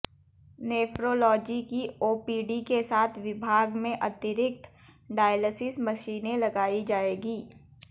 nephrology की OPD के साथ विभाग में अतिरिक्त डायलसिस मशीनें लगाई जाएंगी